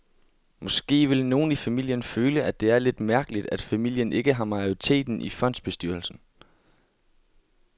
Måske vil nogle i familien føle, at det er lidt mærkeligt, at familien ikke har majoriteten i fondsbestyrelsen.